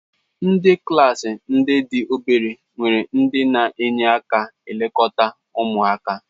Ndị klaasị ndị dị obere nwere ndị na-enye aka na-elekọta ụmụaka.